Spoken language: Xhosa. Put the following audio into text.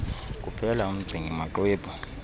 kuphela umgcini maxwebhu